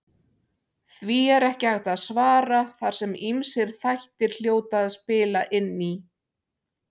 Því er ekki hægt að svara þar sem ýmsir þættir hljóta að spila inn í.